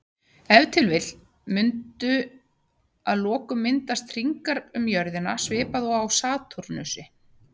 Ef til vill mundu að lokum myndast hringar um jörðina svipað og á Satúrnusi.